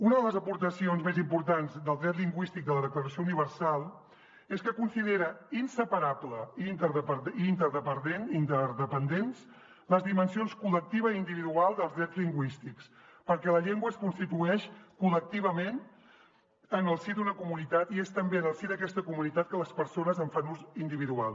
una de les aportacions més importants del dret lingüístic de la declaració universal és que considera inseparables i interdependents les dimensions col·lectiva i individual dels drets lingüístics perquè la llengua es constitueix col·lectivament en el si d’una comunitat i és també en el si d’aquesta comunitat que les persones en fan ús individual